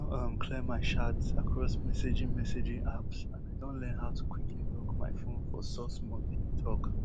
i don um clear my chats across messaging messaging apps and i don learn how to quickly lock my phone for sos mode e tok